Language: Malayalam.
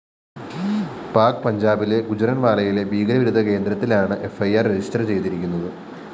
പാക് പഞ്ചാബിലെ ഗുജ്‌റന്‍വാലയിലെ ഭീകരവിരുദ്ധ കേന്ദ്രത്തിലാണ് ഫ്‌ ഇ ആർ രജിസ്റ്റർ ചെയ്തിരിക്കുന്നത്